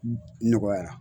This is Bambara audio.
Nɔgɔyara